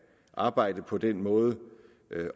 arbejde på den måde